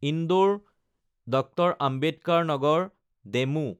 Indore Dr. Ambedkar Nagar DEMU